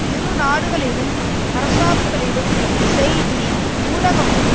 இரு நாடுகளிலும் அரசாங்கங்களும் செய்தி ஊடகமும்